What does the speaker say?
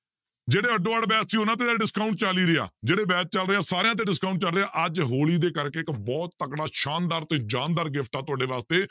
ਜਿਹੜੇ ਅੱਡੋ ਅੱਡ batch ਸੀ ਉਹਨਾਂ ਤੇ ਤਾਂ discount ਚੱਲ ਹੀ ਰਿਹਾ ਜਿਹੜੇ batch ਚੱਲ ਰਹੇ ਆ ਸਾਰਿਆਂ ਤੇ discount ਚੱਲ ਰਿਹਾ, ਅੱਜ ਹੋਲੀ ਦੇ ਕਰਕੇ ਇੱਕ ਬਹੁਤ ਤਕੜਾ ਸ਼ਾਨਦਾਰ ਤੇ ਜ਼ਾਨਦਾਰ gift ਆ ਤੁਹਾਡੇ ਵਾਸਤੇ